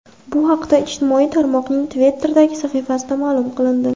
Bu haqda ijtimoiy tarmoqning Twitter’dagi sahifasida ma’lum qilindi .